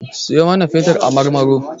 Siyo mana fetur a Marmaro.